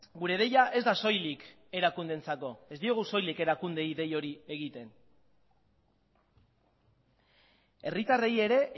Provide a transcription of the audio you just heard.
gure deia ez da soilik erakundeentzako ez diegu soilik erakundeei dei hori egiten herritarrei ere